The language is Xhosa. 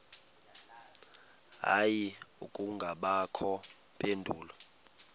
hayi akubangakho mpendulo